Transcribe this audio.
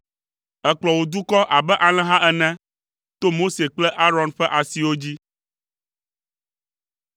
Èkplɔ wò dukɔ abe alẽha ene, to Mose kple Aron ƒe asiwo dzi.